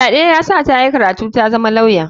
Fyaɗe ya sa ta yi karatu tazama lauya.